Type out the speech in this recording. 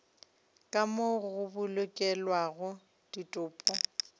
ka moo go bolokelwago ditopo